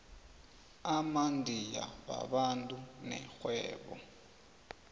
amandiya babantu nerhwebo